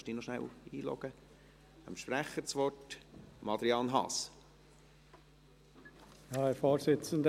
Ich gebe zuerst dem Sprecher Adrian Haas das Wort.